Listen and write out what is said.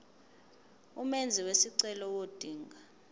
umenzi wesicelo ngodinga